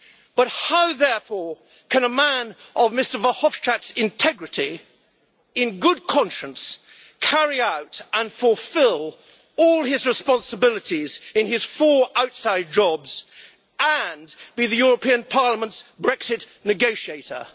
But how, therefore, can a man of Mr Verhofstadt's integrity in good conscience carry out and fulfil all his responsibilities in his four outside jobs and be the European Parliament's Brexit negotiator?